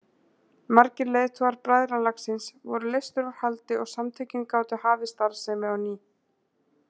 Margir leiðtogar bræðralagsins voru leystir úr haldi og samtökin gátu hafið starfsemi á ný.